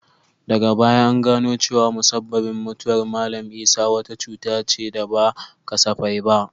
Daga baya an gano cewa musabbabin mutuwar Mallam Isah wata cuta ce da ba kasafai ba.